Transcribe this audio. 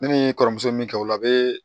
Ne ni n kɔrɔmuso min kɛ o la a bɛ